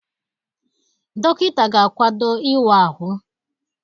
Dọkịta ga-akwado ịwa ahụ.